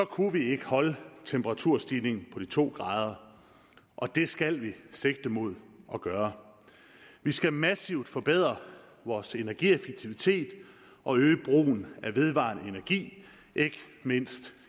kunne vi ikke holde temperaturstigningen på de to grader og det skal vi sigte mod at gøre vi skal massivt forbedre vores energieffektivitet og øge brugen af vedvarende energi ikke mindst